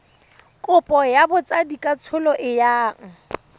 kopo ya botsadikatsholo e yang